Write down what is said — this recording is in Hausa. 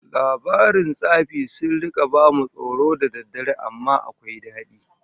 Labaran tsafi sun rika bamu tsoro da daddare amma akwai dadi